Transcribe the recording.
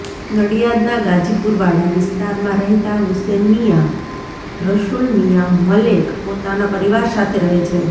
નડિયાદના ગાજીપુરવાડા વિસ્તારમાં રહેતા હુસેનમીયાં રસુલમીયાં મલેક પોતાના પરિવાર સાથે રહે છે